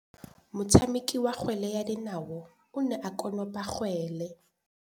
Motshameki wa kgwele ya dinaô o ne a konopa kgwele.